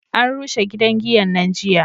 an rushe gidan giyan nan jiya